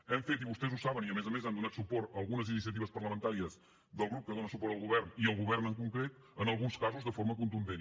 hem fet i vostès ho saben i a més a més han donat suport a algunes iniciatives parlamentàries del grup que dona suport al govern i al govern en concret en alguns casos de forma contundent